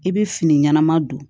I bɛ fini ɲɛnama don